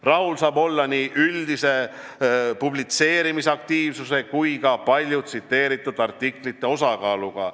Rahul saab olla nii üldise publitseerimisaktiivsuse kui ka palju tsiteeritud artiklite osakaaluga.